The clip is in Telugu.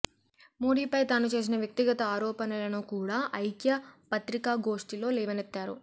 మోడీపై తాను చేసిన వ్యక్తిగత ఆరోపణలను కూడా ఐక్య పత్రికాగోష్టి లో లేవనెత్తారు